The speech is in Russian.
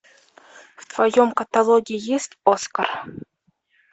в твоем каталоге есть оскар